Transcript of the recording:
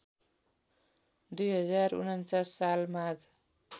२०४९ साल माघ